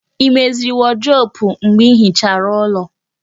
Ị meziri wọdrobu mgbe ịhichara ulọ